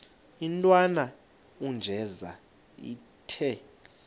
intwana unjeza ithi